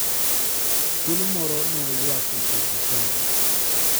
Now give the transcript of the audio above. Thuolo moro ne oywak e dier jochadi.